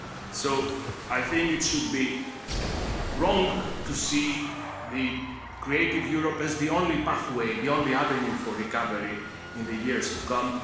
So, I think it should be wrong to see Creative Europe as the only pathway, the only avenue for recovery in the years to come.